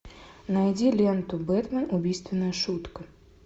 найди ленту бэтмен убийственная шутка